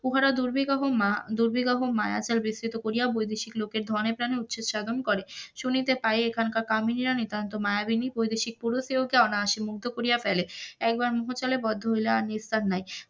উহারা দুর্বিবহ মায়া দুর্বিবহ মায়াজাল বিসৃত করিয়া বৈদেশিক লোকের ধনে প্রানে করে শুনিতে পাই এখনকার কামিনীরা নিতান্তই মায়াবিনী, বৈদেশিক পুরুষদের অনায়াসে মুগ্ধ করিয়া ফেলে, একবার মোহ জালে বদ্ধ হইলে আর নিস্তার নাই,